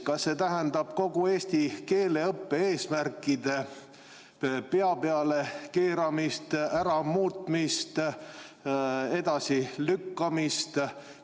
Kas see tähendab kogu eesti keele õppe eesmärkide pea peale keeramist, ära muutmist, edasi lükkamist?